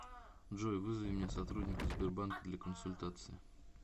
джой вызови мне сотрудника сбербанка для консультации